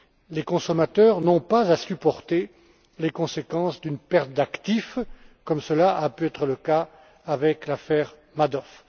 Les consommateurs n'ont pas à supporter les conséquences d'une perte d'actifs, comme cela a pu être le cas avec l'affaire Madoff.